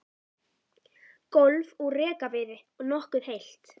Gólf úr rekaviði og nokkuð heilt.